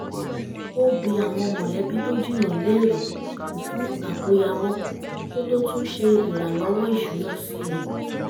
ó bi àwọn mọ̀lẹ́bí tó jìnnà léèrè fún àkóyawọ́ kó tó tún ṣe ìràlọ́wọ́ ìṣúná sí i